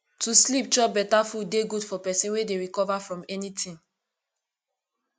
to sleep chop beta food dey good for pesin wey dey recover from anything